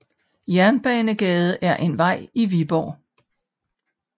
Jernbanegade er en vej i Viborg